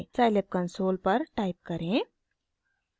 scilab console पर type करें: